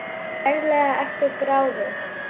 Ferlega ertu gráðug!